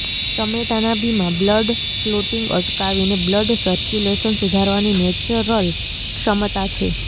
ટમેટાના બીમા blood clotting અટકાવીને blood circulation સુધારવાની નેચરલ ક્ષમતા છે